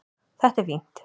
Þetta er fínt.